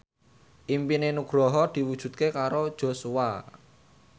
impine Nugroho diwujudke karo Joshua